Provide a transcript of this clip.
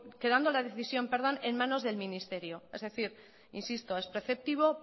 quedando la decisión en manos del ministerio es decir insisto es preceptivo